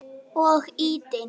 Og ýtinn.